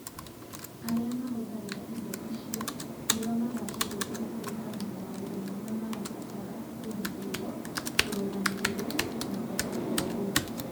Arĩa mahũthagĩra indo icio nĩo maracihũthĩra kũringana na maũndũ marĩa marabatara kũgitĩrũo, kũrũgamĩrĩrio na kwaga kũregwo.